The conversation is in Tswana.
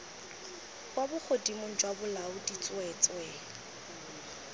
kwa bogodimong jwa bolaodi tsweetswee